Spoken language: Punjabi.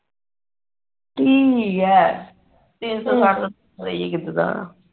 ਠੀਕ ਹੀ ਆ ਤਿੰਨ ਸੋ ਸੱਠ ਦਾ ਹੋਰ ਕਿਦਾ ਦਾ ਆਨਾ